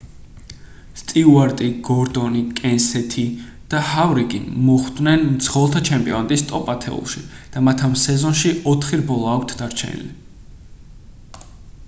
სტიუარტი გორდონი კენსეთი და ჰავრიკი მოხვდნენ მძღოლთა ჩემპიონატის ტოპ-ათეულში და მათ ამ სეზონში ოთხი რბოლა აქვთ დარჩენილი